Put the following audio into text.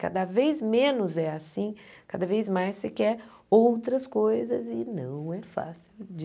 Cada vez menos é assim, cada vez mais você quer outras coisas e não é fácil de...